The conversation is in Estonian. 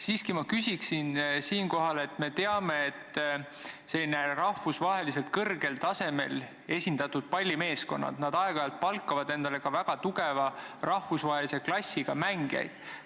Siiski ma küsin siinkohal selle kohta, et me teame, et rahvusvaheliselt kõrgel tasemel esindatud pallimeeskonnad palkavad aeg-ajalt endale väga tugeva rahvusvahelise klassiga mängijaid.